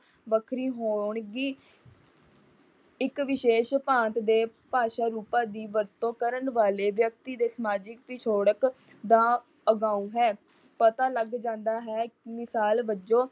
ਵੱਖਰੀ ਹੋਣਗੀ। ਇਕ ਵਿਸ਼ੇਸ਼ ਭਾਂਤ ਦੇ ਭਾਸ਼ਾ ਰੂਪਾਂ ਦੀ ਵਰਤੋਂ ਕਰਨ ਵਾਲੇ ਵਿਅਕਤੀ ਦੇ ਸਮਾਜਿਕ ਪਿਛੋਕੜ ਦਾ ਅਗਾਊ ਹੈ। ਪਤਾ ਲੱਗਾ ਜਾਂਦਾ ਹੈ ਕਿ ਸਾਲ ਵੱਜੋਂ